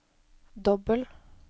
dobbel